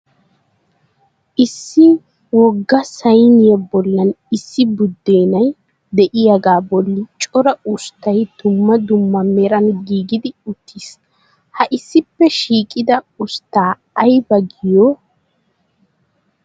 Issi wogga sayiniya bollan issi buddeenay diyaga bolli cora usttay dumma dumma meran giigidi uttis. Ha issippe shiiqida usttaa ayiba giyo?